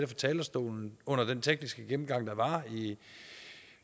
talerstolen under den tekniske gennemgang der var her